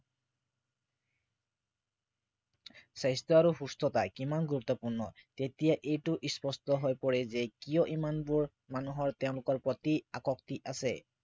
স্বাস্থ্য় আৰু সুস্থতা কিমান গুৰুত্বপূৰ্ণ তেতিয়া এইটো স্পষ্ট হৈ পৰে যে কিয় ইমানবোৰ মানুহৰ তেওঁলোকৰ প্ৰতি আসক্তি আছে